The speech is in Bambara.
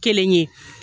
Kelen ye